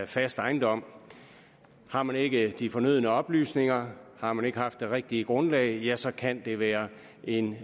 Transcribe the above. fast ejendom har man ikke de fornødne oplysninger har man ikke haft det rigtige grundlag ja så kan det være en